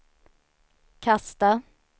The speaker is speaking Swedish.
kasta